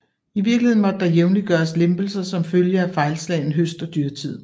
I virkeligheden måtte der jævnligt gøres lempelser som følge af fejlslagen høst og dyrtid